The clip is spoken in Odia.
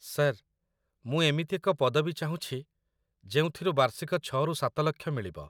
ସାର୍‌, ମୁଁ ଏମିତି ଏକ ପଦବୀ ଚାହୁଁଛି ଯେଉଁଥିରୁ ବାର୍ଷିକ ୬ରୁ ୭ ଲକ୍ଷ ମିଳିବ |